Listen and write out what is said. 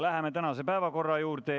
Läheme tänase päevakorra juurde.